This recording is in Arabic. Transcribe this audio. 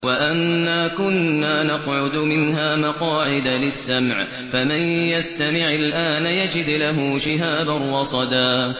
وَأَنَّا كُنَّا نَقْعُدُ مِنْهَا مَقَاعِدَ لِلسَّمْعِ ۖ فَمَن يَسْتَمِعِ الْآنَ يَجِدْ لَهُ شِهَابًا رَّصَدًا